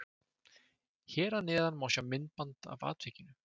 Hér að neðan má sjá myndband af atvikinu.